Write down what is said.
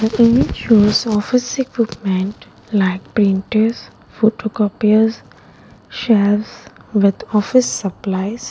shows office equipment like printers photocopies shelves with office supplies.